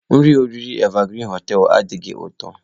Nri oriri Evergreen hoteelu adighị ụtọ.